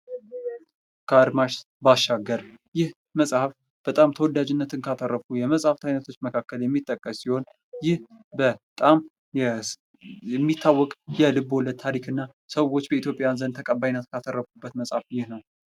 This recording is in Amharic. ካድማስ ባሻገር ይህ መጽሐፍ በጣም ተወዳጅነት ከአተረፉ የመጽሃፍ ዐይነቶች መካከል የሚጠቀስ ሲሆን፤ ይህ በጣም የሚታወቀ የልቦለድ ታሪክና ሰዎች በኢትዮጵያ ዘንድ ተቀባይነት ካተረፉበት መጽሐፈ ይህ ነው ::